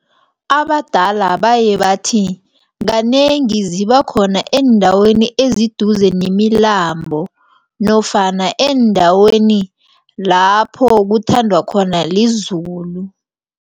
Abadala baye bathi kanengi zibakhona eendaweni eziduze nemilambo nofana eendaweni lapho kuthandwa khona lizulu.